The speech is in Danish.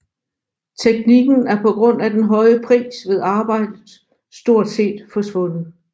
Teknikken er på grund af den høje pris ved arbejdet stort set forsvundet